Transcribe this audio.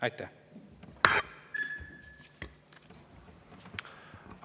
Aitäh!